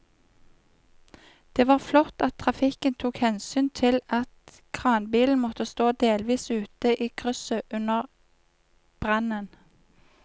Det var flott at trafikken tok hensyn til at kranbilen måtte stå delvis ute i krysset under brannen.